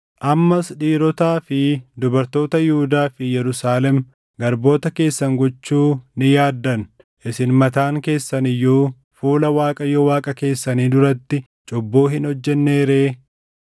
Ammas dhiirotaa fi dubartoota Yihuudaa fi Yerusaalem garboota keessan gochuu ni yaaddan. Isin mataan keessan iyyuu fuula Waaqayyo Waaqa keessanii duratti cubbuu hin hojjennee ree?